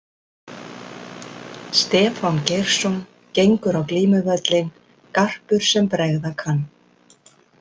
Stefán Geirsson Gengur á glímuvöllinn garpur sem bregða kann.